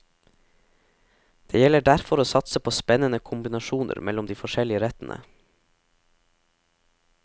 Det gjelder derfor å satse på spennende kombinasjoner mellom de forskjellige rettene.